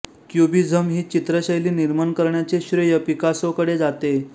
cubism ही चित्रशैली निर्माण करण्याचे श्रेय पिकासोकडे जाते